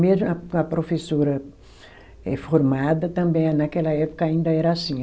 Mesmo a, com a professora eh formada também naquela época ainda era assim.